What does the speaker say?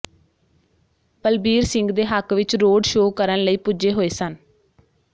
ਬਲਬੀਰ ਸਿੰਘ ਦੇ ਹੱਕ ਵਿਚ ਰੋਡ ਸ਼ੋਅ ਕਰਨ ਲਈ ਪੁੱਜੇ ਹੋਏ ਸਨ